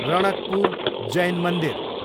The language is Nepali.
रणकपुर जैन मन्दिर